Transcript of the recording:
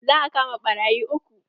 Za a kama ɓarayi uku.